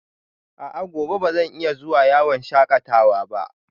A'a, gobe ba zan iya zuwa yawon shakatawa ba?